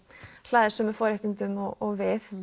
hlaðið sömu forréttindum og við